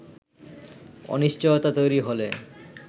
অনিশ্চয়তা তৈরি হলে